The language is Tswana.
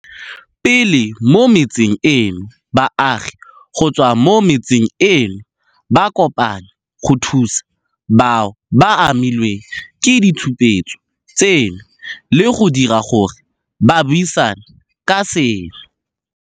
Pele mo metseng eno, baagi go tswa mo metseng eno ba kopane go thusa bao ba amilweng ke ditshupetso tseno le go dira gore ba buisane ka seno.